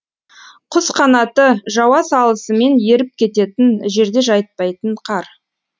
құсқанаты жауа салысымен еріп кететін жерде жатпайтын қар